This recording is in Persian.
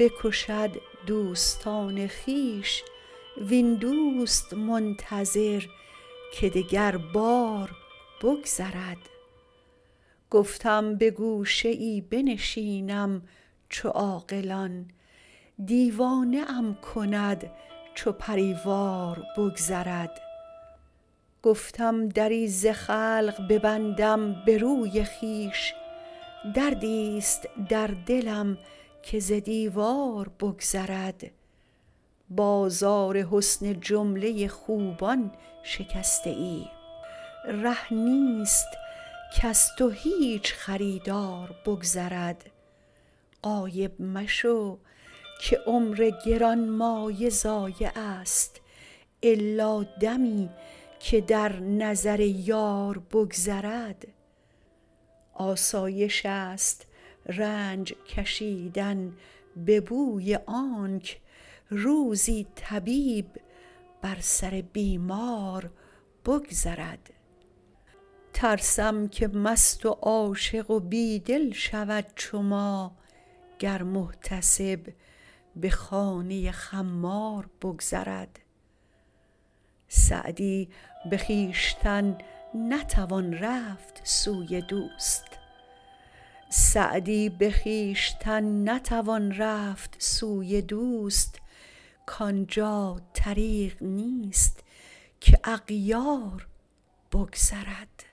بکشد دوستان خویش وین دوست منتظر که دگربار بگذرد گفتم به گوشه ای بنشینم چو عاقلان دیوانه ام کند چو پری وار بگذرد گفتم دری ز خلق ببندم به روی خویش دردیست در دلم که ز دیوار بگذرد بازار حسن جمله خوبان شکسته ای ره نیست کز تو هیچ خریدار بگذرد غایب مشو که عمر گرانمایه ضایعست الا دمی که در نظر یار بگذرد آسایشست رنج کشیدن به بوی آنک روزی طبیب بر سر بیمار بگذرد ترسم که مست و عاشق و بی دل شود چو ما گر محتسب به خانه خمار بگذرد سعدی به خویشتن نتوان رفت سوی دوست کان جا طریق نیست که اغیار بگذرد